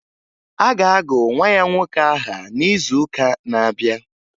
A ga-agụ nwa ya nwoke aha n'izuụka na-abịa